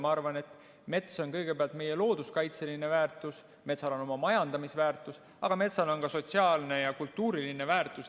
Ma arvan, et mets on kõigepealt meie looduskaitseline väärtus, metsal on oma majandamisväärtus, aga metsal on ka sotsiaalne ja kultuuriline väärtus.